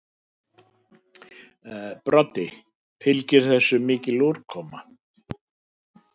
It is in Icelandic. Broddi: Fylgir þessu mikil úrkoma?